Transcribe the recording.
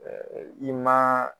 Ɛɛ i ma